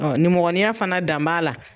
Ɔ nimɔgɔninya fana, dan b'a la.